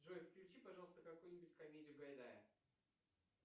джой включи пожалуйста какую нибудь комедию гайдая